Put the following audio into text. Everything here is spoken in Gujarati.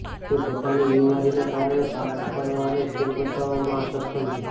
તે પોતાની બિમારીના કારણે સાપ પકડવા અને ખેલ બતાવવામાં અસક્ષમ છે